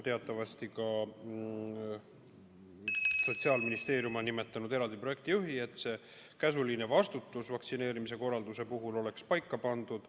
Teatavasti on Sotsiaalministeerium nimetanud eraldi projektijuhi, et käsuliin ja vastutus vaktsineerimise korralduse eest oleks paika pandud.